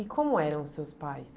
E como eram os seus pais?